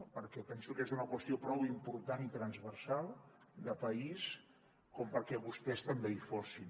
perquè penso que és una qüestió prou important i transversal de país com perquè vostès també hi fossin